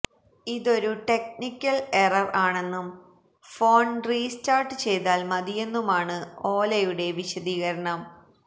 ഇതൊരു technical error ആണെന്നും phone restart ചെയ്താൽ മതിയെന്നുമാണ് ഓലയുടെ വിശദീകരണം